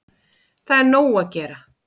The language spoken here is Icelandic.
Það er nóg að gera.